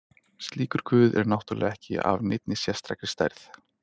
slíkur guð er náttúrulega ekki af neinni sérstakri stærð